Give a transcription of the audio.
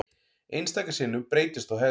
Einstaka sinnum breytist þó hegðunin.